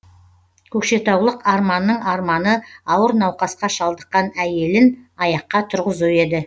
көкшетаулық арманның арманы ауыр науқасқа шалдыққан әйелін аяққа тұрғызу еді